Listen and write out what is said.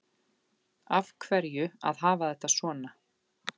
Af hverju að hafa þetta svona